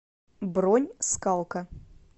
бронь скалка